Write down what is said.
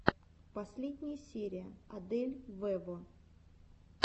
последняя серия адель вево